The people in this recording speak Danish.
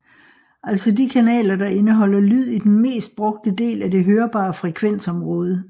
Altså de kanaler der indeholder lyd i den mest brugte del af det hørbare frekvensområde